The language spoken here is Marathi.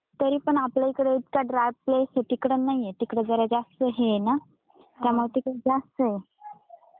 तरी पण आपल्या इकडे इतका ड्राय प्लेस आहे तिकडून नाहीये तिकडे जरा जास्त हे ना काय माहिती खूप जास्त.